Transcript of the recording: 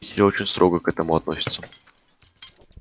все очень строго к этому относятся